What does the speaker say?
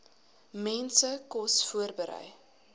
mense kos voorberei